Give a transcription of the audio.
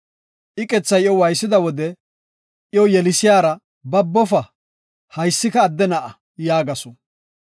Iqethay iyo waaysida wode iyo yelisiyara, “Babofa; haysika adde na7a” yaagasu.